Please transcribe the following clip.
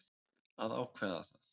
Að ákveða það.